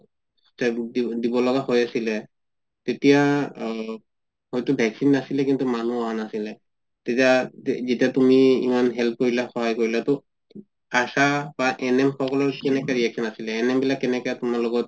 দি দিব লগা হৈ আছিলে তেতিয়া হয়টো vaccine নাছিলে কিন্তু মানুহ অহা নাছিলে যেতিয়া তুমি ইমান help কৰিলা সহায় কৰিলা ত আশা বা NM সকলৰ কেনেকুৱা reaction আছিলে NM বিলাক কেনেকা তুমাৰ লগত